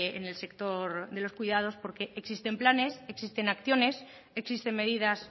en el sector de los cuidados porque existen planes existen acciones existen medidas